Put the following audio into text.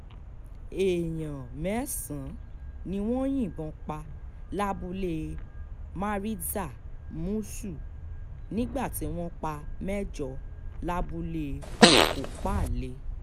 èèyàn mẹ́sàn-án ni wọ́n yìnbọn pa lábúlé maritza-mushu nígbà tí wọ́n pa mẹ́jọ lábúlé kọ́pánlẹ̀